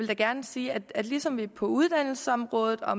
jeg gerne sige at ligesom vi på uddannelsesområdet og